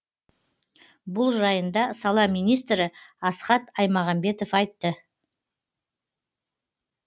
бұл жайында сала министрі асхат аймағамбетов айтты